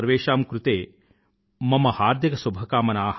సర్వోషామ్ కృతే మమ హార్దిక శుభకామనా